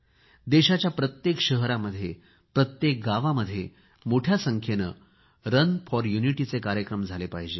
देशाच्या प्रत्येक शहरामध्ये प्रत्येक गावामध्ये मोठ्या संख्येने रन फॉर युनिटीचे कार्यक्रम झाले पाहिजेत